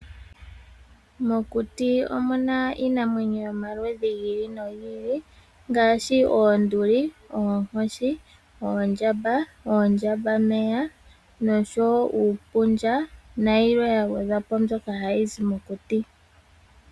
Mokuti omu na iinamwenyo yomaludhi gi ili nogi ili ngaashi oonduli, oonkoshi, oondjamba, oondjambameya, uupundja nayilwe ya gwedha po mbyoka hayi adhika mokuti.